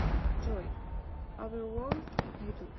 джой аверворлд на ютуб